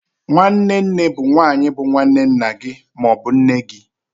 Nwanne nne bụ nwanyi bu nwanne nna gị ma ọ bụ nne gị.